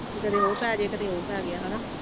ਕਦੇ ਉਹ ਪੈ ਜਾਏ, ਕਦੇ ਉਹ ਪੈ ਗਿਆ ਹਨਾ